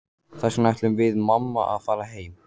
Þess vegna ætlum við mamma að fara heim.